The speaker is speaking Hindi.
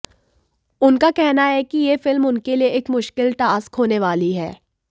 उनका कहना है कि ये फिल्म उनके लिए एक मुश्किल टास्क होने वाली है